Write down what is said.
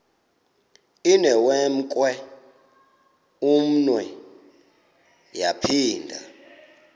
inewenkwe umnwe yaphinda